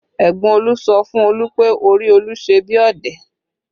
Ẹ̀gbọ́n Olu sọ fún Olu pé orí Olu ṣe bí ọ̀dẹ̀